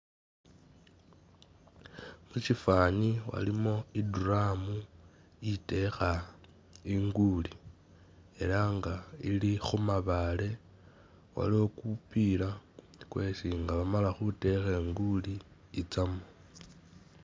muchifani walimo iduramu iteha inguuli, era nga ilihumabale, waliwo kupiira kwesi nga bamala huteha inguuli itsamo